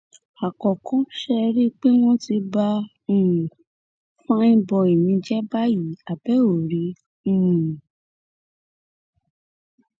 àkọ́kọ́ ṣẹ́ ẹ rí i pé wọn ti bá um fàìn bói mi jẹ báyìí àbí ẹ ò rí i um